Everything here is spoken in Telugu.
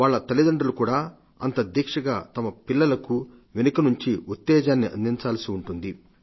వాళ్ల తల్లిదండ్రులు కూడా అంత దీక్షగా తమ పిల్లలకు వెనుక నుండి ఉత్తేజాన్ని అందించాల్సి ఉంటుంది